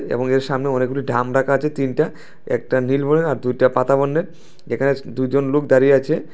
এবং এর সামনে অনেকগুলি ঢাম রাখা আছে তিনটা একটা নীল বর্ণের আর দুইটা পাতা বর্ণের এখানে দুইজন লোক দাঁড়িয়ে আছে।